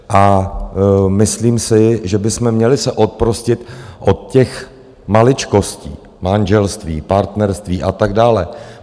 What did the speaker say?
A myslím si, že bychom měli se oprostit od těch maličkostí - manželství, partnerství a tak dále.